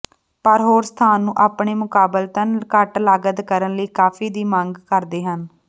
ਪਰ ਹੋਰ ਸਥਾਨ ਨੂੰ ਆਪਣੇ ਮੁਕਾਬਲਤਨ ਘੱਟ ਲਾਗਤ ਕਾਰਨ ਲਈ ਕਾਫੀ ਦੀ ਮੰਗ ਕਰਦੇ ਹਨ